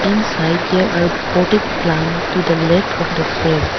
Inside there are potted plant to the left of the frame.